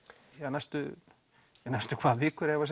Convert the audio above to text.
næstu næstu hvað vikur eða